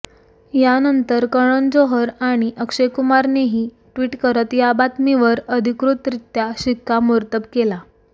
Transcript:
यानंतर करण जोहर आणि अक्षय कुमारनेही ट्विट करत या बातमीवर अधिकृतरित्या शिक्कामोर्तब केला